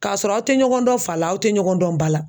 K'a sɔrɔ aw tɛ ɲɔgɔn dɔn fa la aw tɛ ɲɔgɔn dɔn ba la .